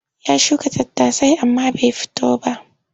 Ya shuka tattasai amma bai fito ba.